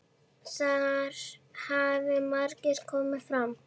Þar hafi margt komið fram.